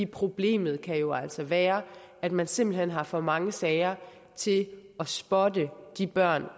problemet kan jo altså være at man simpelt hen har for mange sager til at spotte de børn